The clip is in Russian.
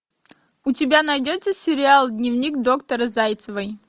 у тебя найдется сериал дневник доктора зайцевой